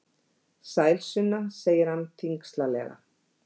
Sæl Sunna, segir hann þyngslalega.